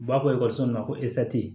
U b'a fɔ ekɔliso ma ko